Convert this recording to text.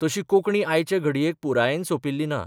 तशी कोंकणी आयचे घडयेक पुरायेन सॉपिल्ली ना.